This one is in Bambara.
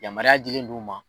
Yamaruya dilen d'u ma